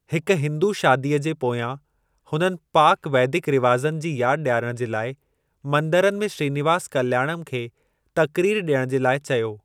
हिक हिंदू शादीअ जे पोयां हुननि पाक वैदिक रिवाजनि जी यादि डि॒यारणु जे लाइ मंदरनि में श्रीनिवास कल्‍याणम खे तक़रीर डि॒यणु जे लाइ चयो।